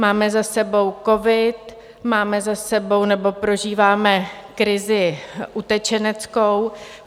Máme za sebou covid, máme za sebou nebo prožíváme krizi utečeneckou.